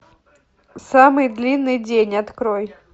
самый длинный день открой